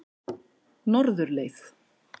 Norðurleið